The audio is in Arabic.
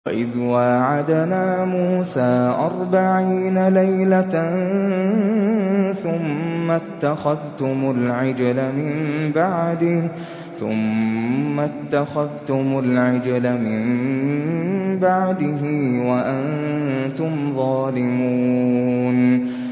وَإِذْ وَاعَدْنَا مُوسَىٰ أَرْبَعِينَ لَيْلَةً ثُمَّ اتَّخَذْتُمُ الْعِجْلَ مِن بَعْدِهِ وَأَنتُمْ ظَالِمُونَ